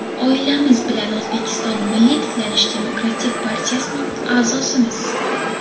Oilamiz bilan O‘zbekiston ‘Milliy tiklanish’ demokratik partiyasining a’zosimiz.